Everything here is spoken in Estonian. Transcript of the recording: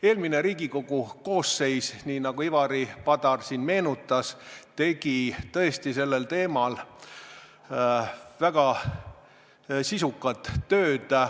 Eelmine Riigikogu koosseis, nii nagu Ivari Padar meenutas, tegi tõesti sellel teemal väga sisukat tööd.